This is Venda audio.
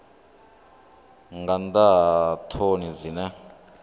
nga nnḓa ha ṱhoni dzine